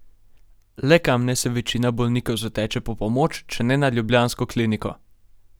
Le kam naj se večina bolnikov zateče po pomoč, če ne na ljubljansko kliniko?